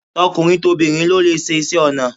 Tokunrin tobinrin ló lè ṣiṣe onà